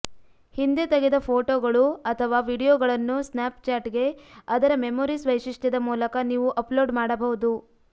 ಹಿಂದೆ ತೆಗೆದ ಫೋಟೋಗಳು ಅಥವಾ ವೀಡಿಯೊಗಳನ್ನು ಸ್ನ್ಯಾಪ್ಚಾಟ್ಗೆ ಅದರ ಮೆಮೊರೀಸ್ ವೈಶಿಷ್ಟ್ಯದ ಮೂಲಕ ನೀವು ಅಪ್ಲೋಡ್ ಮಾಡಬಹುದು